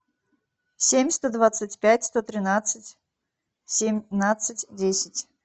семь сто двадцать пять сто тринадцать семнадцать десять